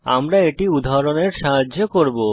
আমরা এটি উদাহরণের সাহায্যে করব